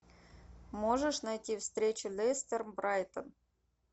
можешь найти встречу лестер брайтон